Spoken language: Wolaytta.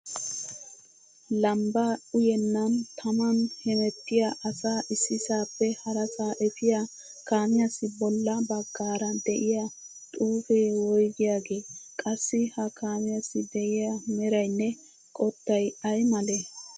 Lambbaa uyennan taman hemettiya asaa issisaappe harasaa efiya kaamiyassi bolla baggaara de'iya xuupee woygiyaagee? Qassi ha kaamiyassi de'iya merayinne qottay ay malee?